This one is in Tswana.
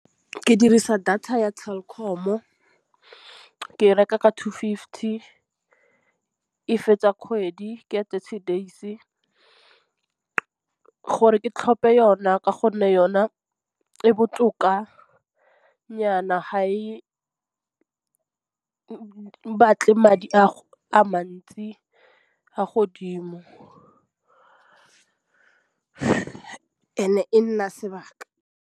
Ke dirisa data ya Telkom-o ke reka ka two fifty. E fetsa kgwedi ke ya thirty days gore ke tlhophe yona ka gonne yona e botokanyana ga e batle madi a mantsi a godimo and e nna sebaka.